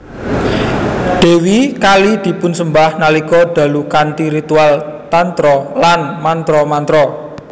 Dèwi Kali dipunsembah nalika dalu kanthi ritual Tantra lan mantra mantra